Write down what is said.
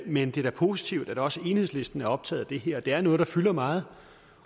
men det er da positivt at også enhedslisten er optaget af de her det er noget der fylder meget